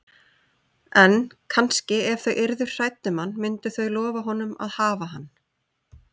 En, kannski, ef þau yrðu hrædd um hann myndu þau lofa honum að hafa hann.